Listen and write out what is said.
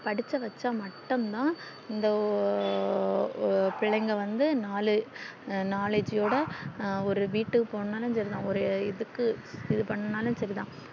படிக்க வைச்சா மட்டும் தான் இந்த பிள்ளைங்க வந்து நாலு knowledge ஓட ஒரு வீட்டுக்கு போனாலும் சேரிதான் ஒரு இதுக்கு இது பண்ணாலும் சேரிதான்